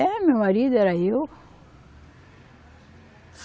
É, meu marido era eu.